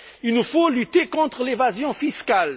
Il nous faut lutter contre l'évasion fiscale.